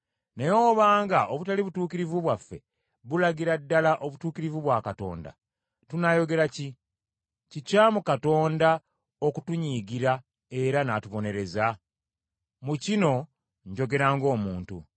Naye obanga obutali butuukirivu bwaffe bulagira ddala obutuukirivu bwa Katonda, tunaayogera ki? Kikyamu Katonda okutunyiigira era n’atubonereza? Mu kino njogera ng’omuntu.